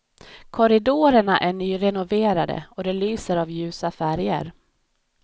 Korridorerna är nyrenoverade och det lyser av ljusa färger.